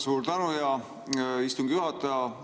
Suur tänu, hea istungi juhataja!